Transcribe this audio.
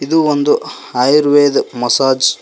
ಇದು ಒಂದು ಆಯುರ್ವೇದ್ ಮಸಾಜ್ --